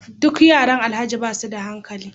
Duk yaran alhaji basuda hankali